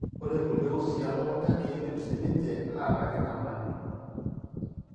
Ore kulie usii elukunya keidim siininche ataa kenyamalu.